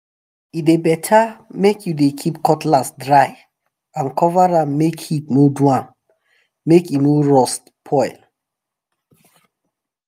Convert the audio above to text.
e dey better make you dey keep cutlass dry and cover am make heat no do am make e no rust spoil.